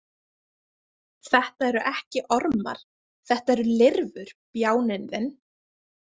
Þetta eru ekki ormar, þetta eru lirfur, bjáninn þinn!